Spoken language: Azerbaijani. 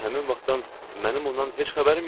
Elə həmin vaxtdan mənim ondan heç xəbərim yoxdur.